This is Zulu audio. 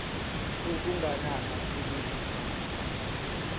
sokuganana kulesi simo